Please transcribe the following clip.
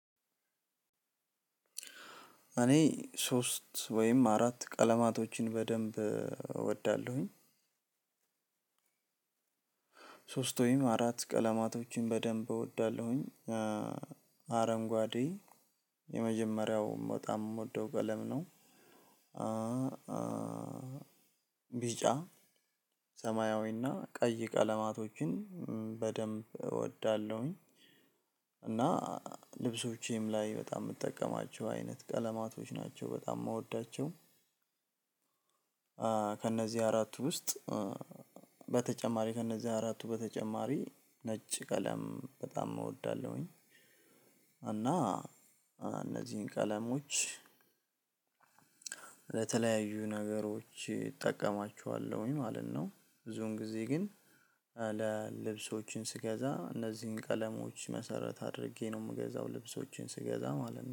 እኔ፣ ሶስት ወይም አራት ቀለማቶችን በደንብ እወዳለሁኝ። ሶስት ወይም አራት ቀለማቶችን በደንብ እወዳለሁኝ። አረንጓዴ፣ የመጀመሪያው በጣም ምወደው ቀለም ነው። ቢጫ፣ ሰማያዊና ቀይ ቀለማቶችን በደንብ እወዳለሁኝ። እና፣ ልብሶቼም ላይ በጣም ምጠቀማቸው አይነት ቀለማቶች ናቸው። በጣም ምወዳቸው። ከእነዚህ አራቱ ውስጥ፣ በተጨማሪ ከእነዚህ አራቱ በተጨማሪ፣ ነጭ ቀለም በጣም እወዳለሁኝ። እና እነዚህን ቀለሞች፣ ለተለያዩ ነገሮች እጠቀማችኋለሁኝ ማለት ነው። ብዙን ጊዜ ግን ለልብሶችን ስገዛ፣ እነዚህን ቀለሞች መሰረት አድርጌ ነው ምገዛው። ልብሶችን ስገዛ ማለት ነው።